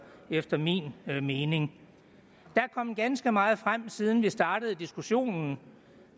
efter min mening der er kommet ganske meget frem siden vi startede diskussionen